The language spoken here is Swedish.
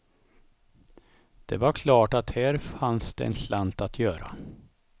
Det var klart att här fanns det en slant att göra.